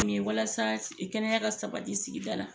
Walasa kɛnɛya ka sabati sigida la.